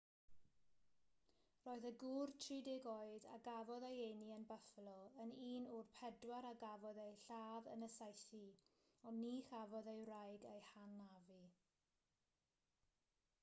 roedd y gŵr 30 oed a gafodd ei eni yn buffalo yn un o'r pedwar a gafodd eu lladd yn y saethu ond ni chafodd ei wraig ei hanafu